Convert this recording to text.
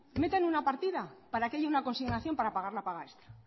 metan una partida para que haya una consignación para pagar la paga extra